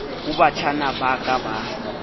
ho batjhana ba ka ba